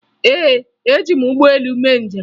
Ee, eji m ụgbọelu mee njem